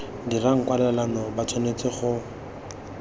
dirang kwalelano ba tshwanetse go